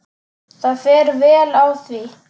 Það fer vel á því.